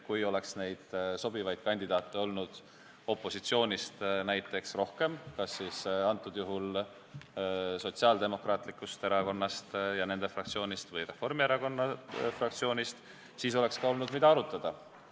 Kui oleks sobivaid kandidaate olnud ka opositsioonist, kas Sotsiaaldemokraatliku Erakonna või Reformierakonna fraktsioonist, siis oleks olnud, mida arutada.